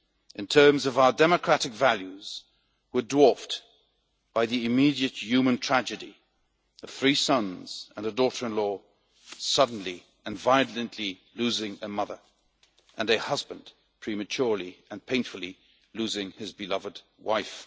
in terms of our democratic values were dwarfed by the immediate human tragedy the three sons and a daughter in law suddenly and violently losing a mother, and a husband prematurely and painfully losing his beloved wife.